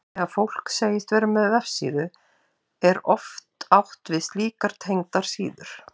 Þegar fólk segist vera með vefsíðu er oft átt við slíkar tengdar síður.